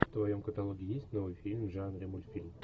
в твоем каталоге есть новый фильм в жанре мультфильм